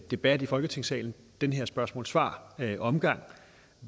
debat i folketingssalen den her spørgsmål svar omgang